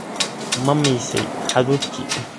Ma miisay hadhuudhkii?